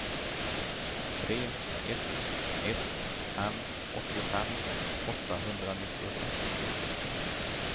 tre ett ett fem åttiofem åttahundranittiosex